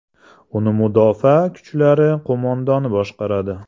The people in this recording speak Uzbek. Uni Mudofaa kuchlari qo‘mondoni boshqaradi.